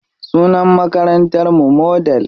Sunan makarantar mu Model.